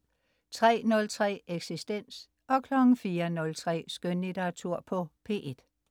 03.03 Eksistens* 04.03 Skønlitteratur på P1*